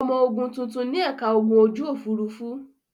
Ọmọ ogun tuntun ní ẹ̀ka ogun ojú-òfurufú.